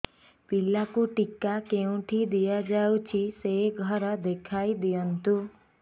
ପିଲାକୁ ଟିକା କେଉଁଠି ଦିଆଯାଉଛି ସେ ଘର ଦେଖାଇ ଦିଅନ୍ତୁ